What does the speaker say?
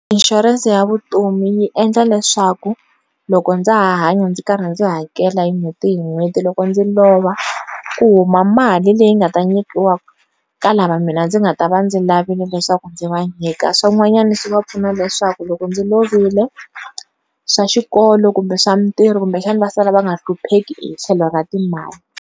Insurance ya vutomi yi endla leswaku loko ndza ha hanya ndzi karhi ndzi hakela hi n'hweti hi n'hweti loko ndzi lova kuhuma mali leyi nga ta nyikiwa ka lava mina ndzi nga ta va ndzi lavile leswaku ndzi vanyika swin'wanyana swi va pfuna leswaku loko ndzi lovile swa xikolo kumbe swa mitirho kumbexana va sala va nga hlupheki hi tlhelo ra timali.